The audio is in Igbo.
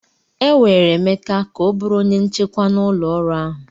E were Emeka ka ọ bụrụ onye nchekwa na ụlọọrụ ahụ.